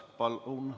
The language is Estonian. Palun!